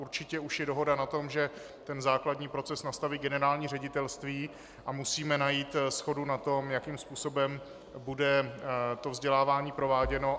Určitě už je dohoda na tom, že ten základní proces nastaví generální ředitelství, a musíme najít shodu na tom, jakým způsobem bude to vzdělávání prováděno.